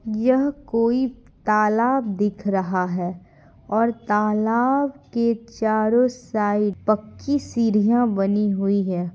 यह कोई तालाब दिख रहा है और तालाब के चारों साइड पक्की सीढ़ियां बनी हुई है।